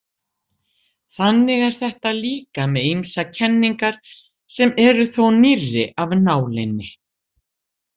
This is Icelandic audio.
Þannig er þetta líka með ýmsar kenningar sem eru þó nýrri af nálinni.